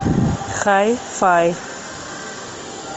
хай фай